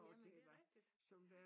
Ja men det er rigtigt ja